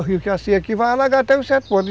O rio que vai ser aqui vai alagar até um certo ponto.